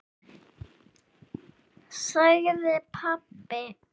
sagði pabbi.